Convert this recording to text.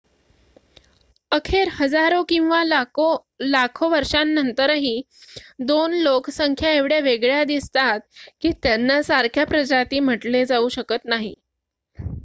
अखेर हजारो किंवा लाखो वर्षांनंतरही दोन लोकसंख्या एवढ्या वेगळ्या दिसतात की त्यांना सारख्या प्रजाती म्हटले जाऊ शकत नाही